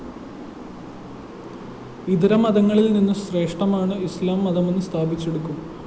ഇതരമതങ്ങളില്‍നിന്ന് ശ്രേഷ്ഠമാണ് ഇസ്ലാം മതമെന്ന് സ്ഥാപിച്ചെടുക്കും